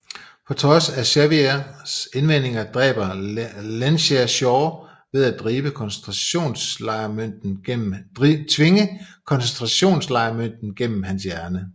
På trods af Xaviers indvendinger dræber Lensherr Shaw ved at tvinge koncentrationslejrmønten gennem hans hjerne